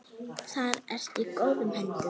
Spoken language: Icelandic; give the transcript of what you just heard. Þar ertu í góðum höndum.